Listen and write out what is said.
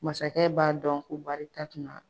Masakɛ b'a dɔn ko baarita tun man